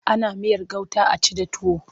Ana miyar gauta a ci da tuwo.